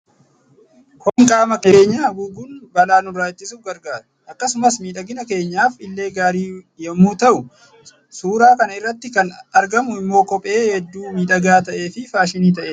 Kopheen qaama keenya(miilla) keenya haguuguun balaa nurraa ittisuuf gargaara. Akkasumas miidhagina keenyaaf illee gaarii yommuu ta'u, suuraa kana irratti kan argamu immoo kophee hedduu miidhagaa ta'e fi faashinii ta'e dha.